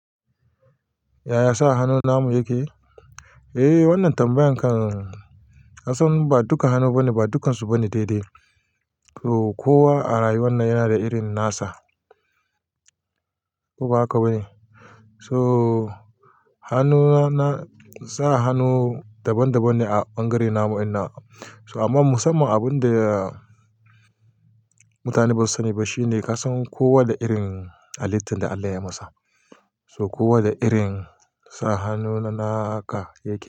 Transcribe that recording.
Yaya sa hannu namu yake? Eh wannan tambayan kan-- kasan ba dukkan hannu bane, ba dukkansu bane daidai. Ko kowa a rayuwar nan yana da irin nasa. Ko ba haka ba ne? So hannuna na sa hannu daban daban ne a bangare namu inna. So amma musamman abin da mutane basu sani ba shine kasan kowa da irin halittun da Allah ya masa. So kowa da irin sa hannu na naka yake.